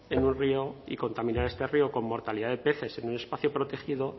en un río y contaminara este río con mortalidad de peces en un espacio protegido